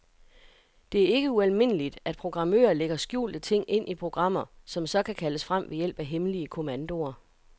Det er ikke ualmindeligt, at programmører lægger skjulte ting ind i programmer, som så kan kaldes frem ved hjælp af hemmelige kommandoer.